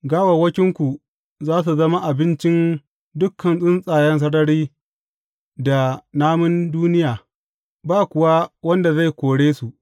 Gawawwakinku za su zama abincin dukan tsuntsayen sarari da namun duniya, ba kuwa wanda zai kore su.